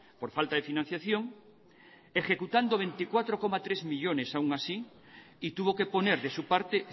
por falta de financiación ejecutando veinticuatro coma tres millónes aún así y tuvo que poner de su parte